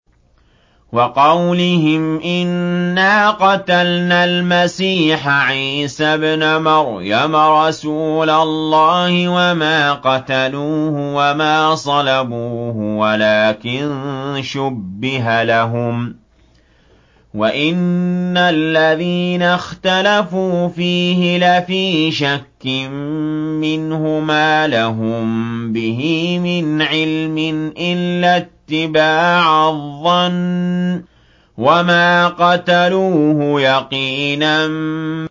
وَقَوْلِهِمْ إِنَّا قَتَلْنَا الْمَسِيحَ عِيسَى ابْنَ مَرْيَمَ رَسُولَ اللَّهِ وَمَا قَتَلُوهُ وَمَا صَلَبُوهُ وَلَٰكِن شُبِّهَ لَهُمْ ۚ وَإِنَّ الَّذِينَ اخْتَلَفُوا فِيهِ لَفِي شَكٍّ مِّنْهُ ۚ مَا لَهُم بِهِ مِنْ عِلْمٍ إِلَّا اتِّبَاعَ الظَّنِّ ۚ وَمَا قَتَلُوهُ يَقِينًا